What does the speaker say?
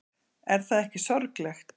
Er það ekki sorglegt?